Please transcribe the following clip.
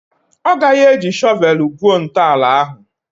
Ọ gaghị eji shọvel gwuo ntọala ahụ?